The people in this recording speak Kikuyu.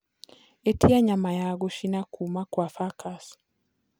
ĩtĩa nyama ya guchina kũũma kwa frkas